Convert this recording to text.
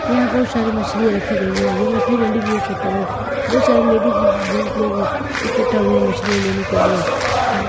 यहां बहुत सारी मछलियां रखी गई हैं यह मछली मंडी भी हो सकता है बहुत सारे लेडीज जंत लोग इकट्ठा हुए हैं मछली लेने के लिए--